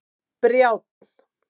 Brjánn